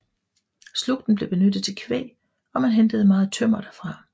Slugten blev benyttet til kvæg og man hentede meget tømmer derfra